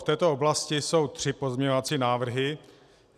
V této oblasti jsou tři pozměňovací návrhy.